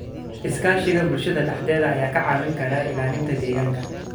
Iskaashiga bulshada dhexdeeda ayaa ka caawin kara ilaalinta deegaanka.